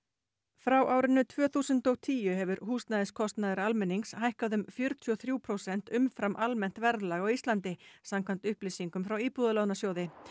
frá árinu tvö þúsund og tíu hefur húsnæðiskostnaður almennings hækkað um fjörutíu og þrjú prósent umfram almennt verðlag á Íslandi samkvæmt upplýsingum frá Íbúðalánasjóði